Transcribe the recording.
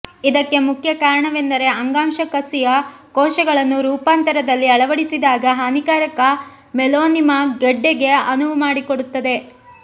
ಇದಕ್ಕೆ ಮುಖ್ಯ ಕಾರಣವೆಂದರೆ ಅಂಗಾಂಶ ಕಸಿಯ ಕೋಶಗಳನ್ನು ರೂಪಾಂತರದಲ್ಲಿ ಅಳವಡಿಸಿದಾಗ ಹಾನಿಕಾರಕ ಮೆಲೊನಿಮಾ ಗೆಡ್ಡೆಗೆ ಅನುವು ಮಾಡಿಕೊಡುತ್ತದೆ